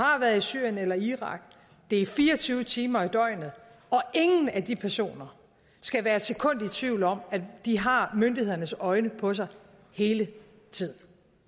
har været i syrien eller irak og det er fire og tyve timer i døgnet ingen af de personer skal være et sekund i tvivl om at de har myndighedernes øjne på sig hele tiden